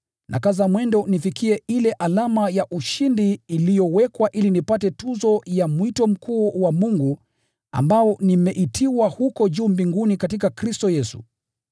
Nakaza mwendo nifikie ile alama ya ushindi iliyowekwa ili nipate tuzo ya mwito mkuu wa Mungu ambao nimeitiwa huko juu mbinguni katika Kristo Yesu.